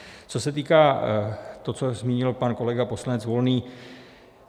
Co se týká toho, co zmínil pan kolega poslanec Volný.